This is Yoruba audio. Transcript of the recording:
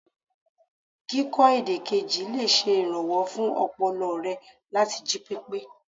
Kíkọ èdè kejì lè ṣe ìrànwọ́ fún ọpọlọ re láti jí pépé.